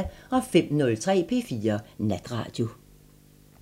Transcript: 05:03: P4 Natradio